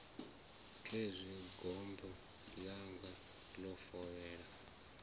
khezwi gombo ḽanga ḽo fovhela